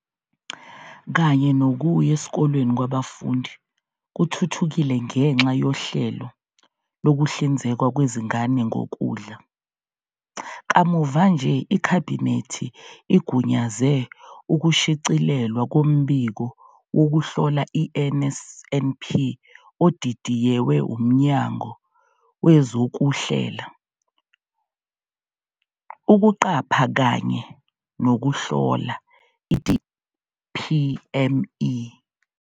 .kanye nokuya esikoleni kwabafundi kuthuthukile ngenxa yohlelo lokuhlinzekwa kwezingane ngokudla. Kamuva nje, iKhabhinethi igunyaze ukushicilelwa koMbiko Wokuhlola i-NSNP odidiyewe uMnyango Wezokuhlela, Ukuqapha kanye Nokuhlola, i-DPME.